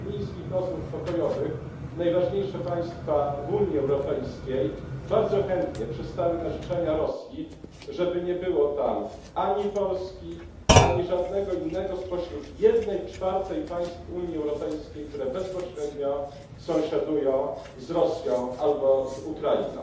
W czasie mińskich rozmów pokojowych najważniejsze państwa w Unii Europejskiej bardzo chętnie przystały na życzenia Rosji, żeby nie było tam ani Polski, ani żadnego innego spośród jednej czwartej państw Unii Europejskiej, które bezpośrednio sąsiadują z Rosją albo z Ukrainą.